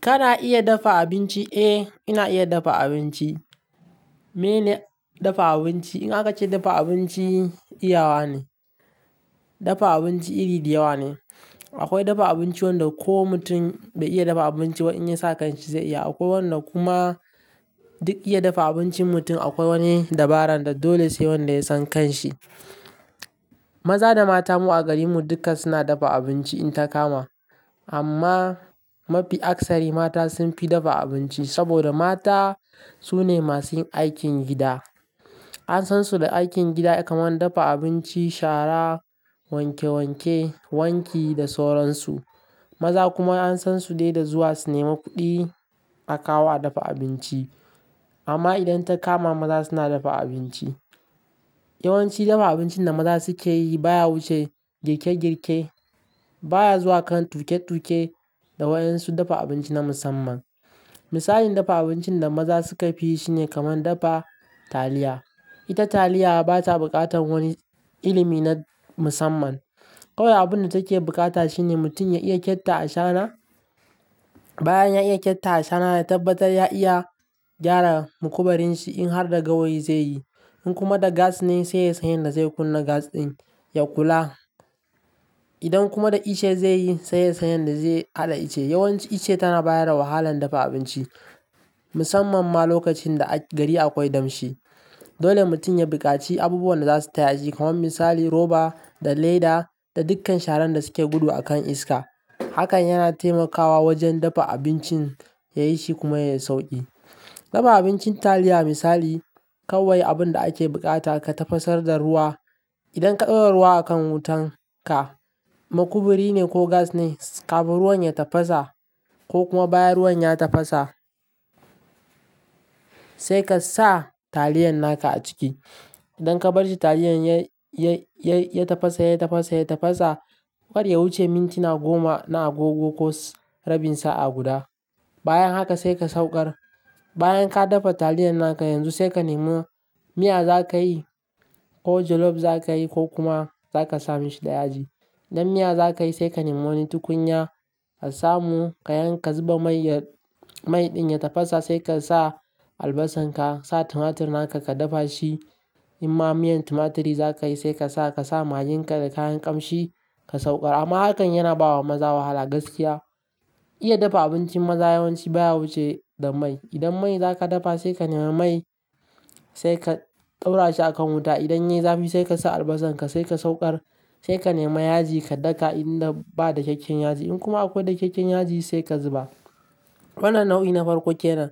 Kana iya dafa abinci? Eh, ina iya dafa abinci. Meye ne dafa abinci? In aka ce dafa abinci, iyawa ne. Dafa abinci iri da yawa ne. Akwai dafa abinci wanda ko mutum bai iya dafa abinci ba in ya sa kan shi zai iya. Akwai wannan kuma duk iya dafa abincin mutum, akwai wani dabaran, da dole sai wanda ya san kan shi. Maza da mata mu a garin mu duka suna dafa abinci in ta kama. Amma mafi aksari mata sun fi dafa abinci saboda mata su ne masu yin aikin gida. An san su da aikin gida kamar dafa abinci, shara, wanke wanke, wanki da sauransu. Maza kuma an san su dai da zuwa su nema kuɗi a kawo a dafa abinci. Amma idan ta kama maza suna dafa abinci, yawanci dafa abincin da maza suke yi baya wuce girke girke, baya zuwa kan tuke tuke da wayan su dafa abinci na musamman. Misalin dafa abincin da maza suka fi yi shine kamar dafa taliya. Ita taliya ba ta buƙatan wani ilimi na musamman. Kawai abun da take bukata shine mutum ya iya ƙyatta a shara, bayan ya iya ƙyatta a shara, ya tabbatar ya iya gyara makubarin shi in har da gawayi zai yi. In kuma da gas ne sai ya san yadda zai kunna gas ɗin ya kula. Idan kuma da ice zai yi, sai ya san yadda zai haɗa ice. Yawanci ice tana bayar da wahalan dafa abinci musamman ma lokacin da a gari akwai damshi. Dole mutum ya buƙaci abubuwan da za su taya shi kamar misali roba da leda da dukkan sharan da suke gudu a kan iska. Hakan yana taimakawa wajen dafa abincin ya yi shi kuma ya yi sauƙi. Dafa abincin taliya misali kawai abun da ake buƙata ka tafasar da ruwa. Idan ka ɗora ruwa a kan wutan ka, makuburi ne ko gas ne, kafin ruwan ya tafasa ko kuma bayan ruwan ya tafasa sai ka sa taliyan naka a ciki. Idan ka bar shi taliyan ya-ya-ya tafasa, ya tafasa, ya tafasa, bar ya wuce mintina goma na agogo ko rabin sa'a guda. Bayan haka sai ka saukar. Bayan ka dafa taliyan naka yanzu sai ka nemo miya za ka yi ko jollof za ka yi ko kuma za ka sa mishi da yaji. Idan miya za ka yi sai ka nemo wani tukunya ka samu ka yanka zuba mai ya-- mai ɗin ya tafasa sai ka sa albasan ka, sa tumatir naka ka dafa shi. In ma miyan tumaturi za ka yi sai ka sa, ka sa magin ka da kayan ƙamshi ka saukar. Amma hakan yana bawa maza wahala gaskiya. Iya dafa abinci maza yawanci baya wuce da mai. Idan mai za ka dafa sai ka nemi mai sai ka ɗaura shi a kan wuta. Idan yayi zafi sai ka sa albasan ka sai ka saukar. Sai ka nema yaji ka daka idan ba dakyakykyen kyakkyan yaji. In kuma akwai dakyakkyan yaji sai ka zuba. Wannan nau'i na farko kenan.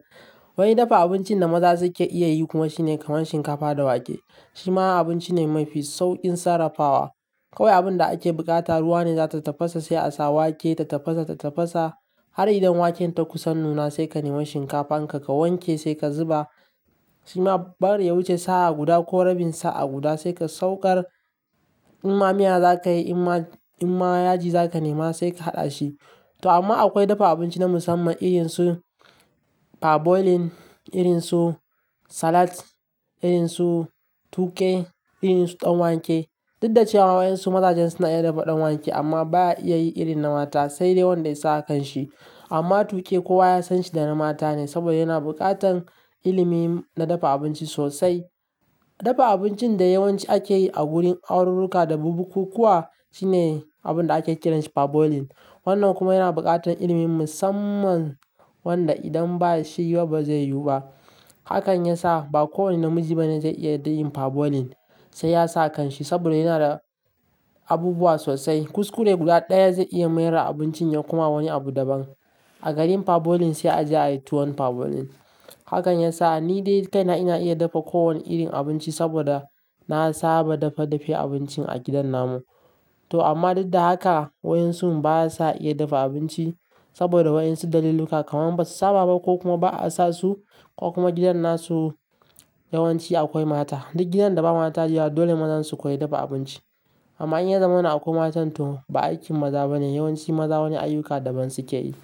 Wani dafa abincin da maza suke iya yi kuma shine kamar shinkafa da wake. Shi ma abinci ne mafi sauƙin sarrafawa. Kawai abun da ake buƙata ruwa ne za ta tafasa sai a sa wake ta tafasa, ta tafasa har idan waken ta kusan nuna sai ka nemo shinkafan ka, ka wanke sai ka zuba. Shi ma bar ya wuce sa'a guda ko rabin sa'a guda sai ka saukar. In ma miya za ka yi, in ma, in ma yaji za ka nema sai ka haɗa shi. To amma akwai dafa abinci na musamman irin su per boiling, irin su salat, irin su tuƙe, irin su ɗan wake. Duk da cewa wayansu mazajen suna iya dafa ɗan wake amma baya iya yi irin na mata sai dai wanda ya sa a kan shi. Amma tuƙe kowa ya san shi na mata ne saboda yana buƙatan ilimi na dafa abinci sosai. Dafa abincin da yawanci ake yi a gurin aururruka da bubukukuwa shine abun da ake kiranshi per boiling. Wannan kuma yana buƙatan ilimin musamman wanda idan ba shi yau ba zai yiwu ba. Hakan ya sa ba kowane namiji bane zai iya da yin per boiling sai ya sa a kan shi saboda yana da abubuwa sosai. Kuskure guda ɗaya zai iya mayar da abincin ya kuma wani abu daban. A garin per boiling sai a je a yi tuwon per boiling. Hakan ya sa ni dai kaina ina iya dafa kowane irin abinci saboda na saba dafa dafe abincin a gidan namu. To amma duk da haka haka wayan su baya sa iya dafa abinci saboda wayan su daliluka kamar ba su saba ba ko kuma ba a sa su ko kuma gidan na su yawanci akwai mata. Duk gidan da ba mata da yawa dole mazan su koyi dafa abinci. Amma in ya zamana akwai matan to ba aikin maza bane. Yawanci maza wani ayyuka daban suke yi.